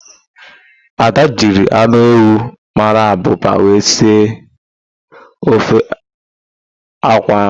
Ada jiri anụ ewu mara abụba wee sie ofe akwụ ahụ.